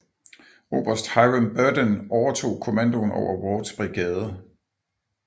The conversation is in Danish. Oberst Hiram Berdan overtog kommandoen over Wards brigade